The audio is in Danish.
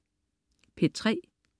P3: